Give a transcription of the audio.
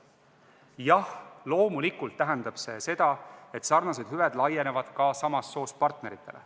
Jah, loomulikult tähendab see seda, et sarnased hüved laienevad ka samast soost partneritele.